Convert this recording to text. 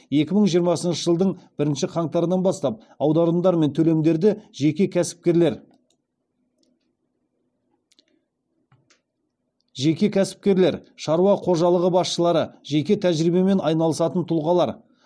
екі мың жиырмасыншы жылдың бірінші қаңтарынан бастап аударымдар мен төлемдерді жеке кәсіпкерлер шаруа қожалығы басшылары жеке тәжірибемен айналысатын тұлғалар